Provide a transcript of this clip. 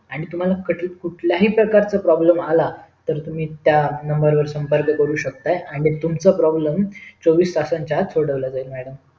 आणि तुम्हला कुठल्याही प्रकारच problem आला तर तुम्ही त्या नंबर वर सपंर्क करू शेकता आणि तुमचा problem चोवीस तासांच्या आत सोडवले जाईल madam